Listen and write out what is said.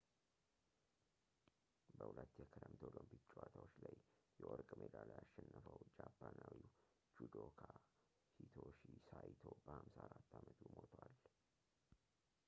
በሁለት የክረምት ኦሎምፒክ ጨዋታዎች ላይ የወርቅ ሜዳልያ ያሸነፈው ጃፓናዊው judoka hitoshi saito በ54 አመቱ ሞቷል